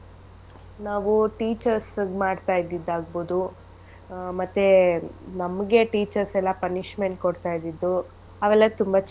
ನಾವು teachers ಗ್ ಮಾಡ್ತ ಇದ್ದಿದ್ ಆಗ್ಬೋದು ಆಹ್ ಮತ್ತೇ ನಮ್ಗೆ teachers ಎಲ್ಲಾ punishment ಕೊಡ್ತ ಇದ್ದಿದ್ದು ಅವೆಲ್ಲ ತುಂಬಾ.